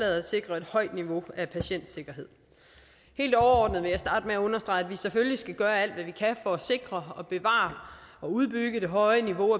sikre et højt niveau af patientsikkerhed helt overordnet vil jeg starte med at understrege at vi selvfølgelig skal gøre alt hvad vi kan for at sikre bevare og udbygge det høje niveau